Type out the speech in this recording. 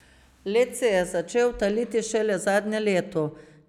Led se je začel taliti šele zadnje leto.